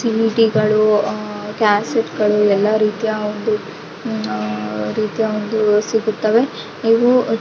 ಸಿಡಿ ಗಳು ಅಹ್ ಕ್ಯಾಸೆಟ್ ಗಳು ಎಲ್ಲ ರೀತಿಯ ಒಂದು ಆಹ್ಹ್ ರೀತಿಯ ಒಂದು ಸಿಗುತ್ತವೆ ಇವು--